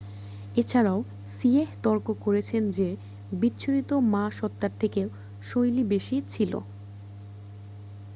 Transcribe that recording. এছাড়াও সিয়েহ তর্ক করেছে যে বিচ্ছুরিত মা সত্ত্বার থেকে শৈলী বেশি ছিল